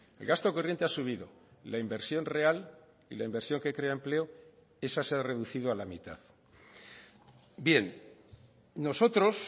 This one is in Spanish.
el gasto corriente ha subido la inversión real y la inversión que crea empleo esa se ha reducido a la mitad bien nosotros